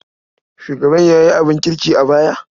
Shugaban ya yi abin kirki a baya?